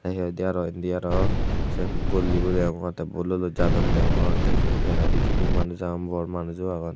te he hoide aro indi aro se golley bo deongor te bollo docche jadon deongor te se he picchendi manujo agon aro bor manujo agon te.